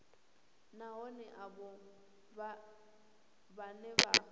na vhohe avho vhane vha